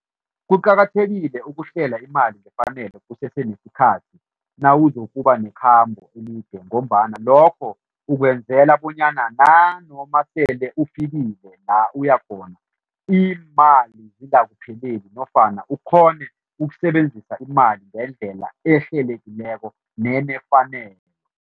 Kuqakathekile ukuhlela imali ngefanelo kusesenesikhathi nawuzokuba nekhambo elide ngombana lokho ukwenzela bonyana nanoma sele ufikile la uya khona, iimali zingakupheleli nofana ukghone ukusebenzisa imali ngendlela ehlelekileko nenefanelo.